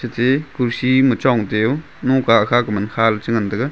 ate kurci ma chong te u kha man kha le chi ngan taiga.